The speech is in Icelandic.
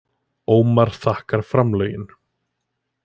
Ómar þakkar framlögin